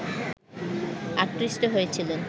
আকৃষ্ট হয়েছিলেন